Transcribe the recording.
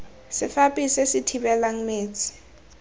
sefaphi se se thibelang metsi